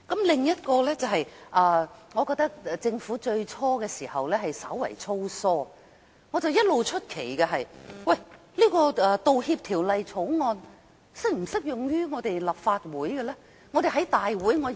另一點，我覺得政府在初時較為粗疏，我一直感到好奇，想知道《條例草案》是否適用於立法會？